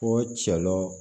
Ko cɛlɔn